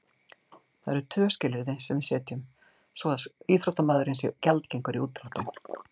Það eru tvö skilyrði sem við setjum svo að íþróttamaðurinn sé gjaldgengur í útdráttinn.